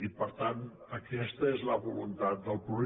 i per tant aquesta és la voluntat del punt un